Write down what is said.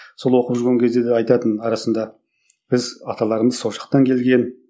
сол оқып жүрген кезде де айтатын арасында біз аталарымыз сол жақтан келген